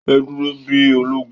Ẹ dúró bí ológun!